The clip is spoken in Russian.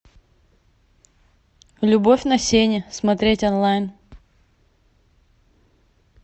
любовь на сене смотреть онлайн